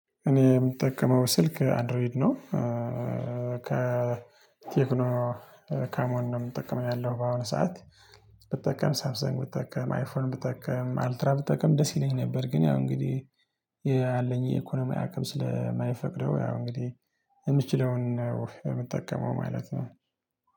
እኔ የምጠቀመው ስልክ አንድሮይድ ነው። ከቴክኖ ከሞን ነው የምጠቀመው ያለው በአሁኑ ሰዓት። ብጠቀም ሰብሰንግ ብጠቀም አይፎን ብጠቀም አልትራ ብጠቀም ደስ ይለኝ ነበር። ግን ያው እንግዲህ ያለኝ የኢኮኖሚ አቅም ስለማይፈቅደው ያው እንግዲህ የምችለውን ነው የምጠቀመው ማለት ነው